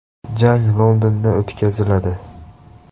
Jang Londonda o‘tkaziladi.